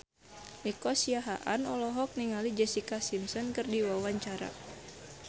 Nico Siahaan olohok ningali Jessica Simpson keur diwawancara